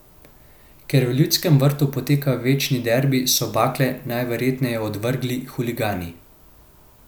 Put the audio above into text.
Ker v Ljudskem vrtu poteka večni derbi, so bakle najverjetneje odvrgli huligani.